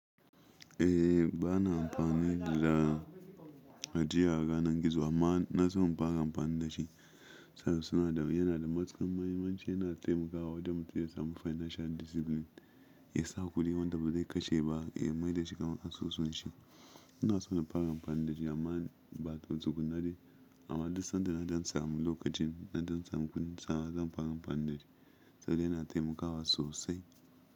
Eh, ba na amfani da hadiya a ganin gizo amma na so in fara amfani da shi saboda suna da, yana da matukar mahimmanci, yana taimakawa wanda mutum ya samu financial discipline. Ya sa kuɗi wanda ba zai kashe ba, ya maida shi kan asusun shi. Ina so in fara amfani da shi amma ba don tukna dai. Amma duk sanda na dan samu lokacin, na dan samun kudin sa zan fara amfani da shi saboda yana taimakawa sosai.